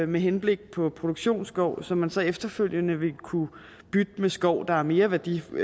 med henblik på produktionsskov som man så efterfølgende vil kunne bytte med skov der er mere værdifuld